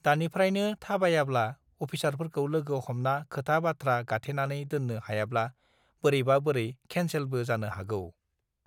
दानिफ्रायनो थाबायाब्ला अफिसारफोरखौ लोगो हमना खोथा बाथ्रा गाथेनानै दोन्नो हायाब्ला बोरैबा बोरै खेनसेलबो जानो हागौ